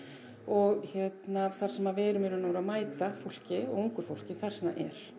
og hérna þar sem við erum í raun og veru að mæta fólki ungu fólki þar sem það er